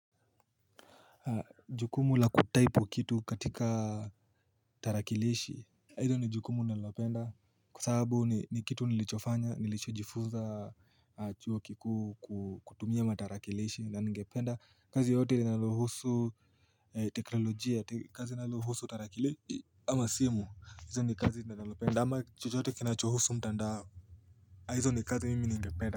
Jukumu la kutaipu kitu katika tarakilishi Hilo ni jukumu nalopenda kwa sababu ni kitu nilichofanya nilichojifunza chuo kikuu kutumia matarakilishi na ningependa kazi yoyote inayohusu teknolojia kazi inalohusu tarakilishi ama simu hizo ni kazi nalopenda ama chochote kinachohusu mtandao hizo ni kazi mimi ningependa.